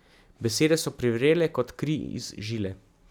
Besede so privrele kot kri iz žile.